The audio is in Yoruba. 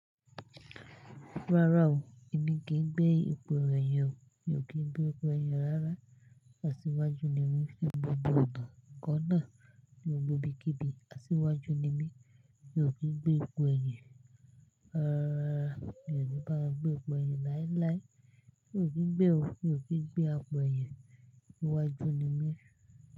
Rárá o, èmi kì í gbé ipò ẹyin o, mi ò kí gbé ipò ẹyin rárá. Asíwájú ni mí fún gbogbo ọ̀dọ́ ǹkan náà ní gbogbo ibikíbi. Asíwájú ni mí, mi ò kí gbé ipò ẹyin rárá. Mi ò ní bá a gbé ipò ẹyin láíláí, mi ò kí gbé o, mi ò kí gbé ipò ẹyin. Asíwájú ni mí.